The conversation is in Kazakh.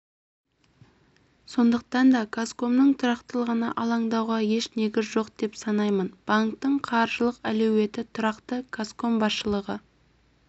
сондықтан да казкомның тұрақтылығына алаңдауға еш негіз жоқ деп санаймын банктің қаржылық әлеуеті тұрақты казком басшылығы